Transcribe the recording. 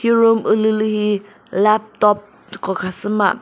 hi room ulülü hi laptop hu khasü ma.